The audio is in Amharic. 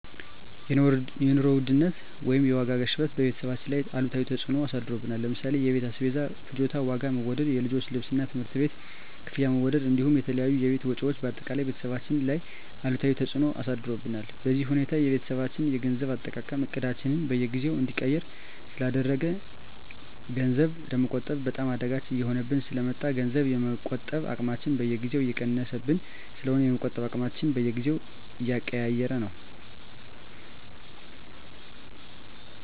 የኑሮ ውድነት ወይም የዋጋ ግሽበት በቤተሰባችን ላይ አሉታዊ ተፅዕኖ አሳድሮብናል ለምሳሌ የቤት አስቤዛ ፍጆታ ዋጋ መወደድ፣ የልጆች ልብስና የትምህርት ቤት ክፍያ መወደድ እንዲሁም የተለያዩ የቤት ወጪዎች በአጠቃላይ ቤተሰባችን ላይ አሉታዊ ተፅዕኖ አሳድሮብናል። በዚህ ሁኔታ የቤተሰባችን የገንዘብ አጠቃቀም እቅዳችንን በየጊዜው እንዲቀየር ስላደረገው ገንዘብ ለመቆጠብ በጣም አዳጋች እየሆነብን ስለ መጣ ገንዘብ የመቆጠብ አቅማችን በየጊዜው እየቀነሰብን ስለሆነ የመቆጠብ አቅማችንን በየጊዜው እየቀያየረው ነው።